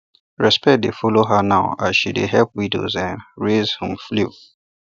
respect dey follow her now as she dey help widows um raise um fowl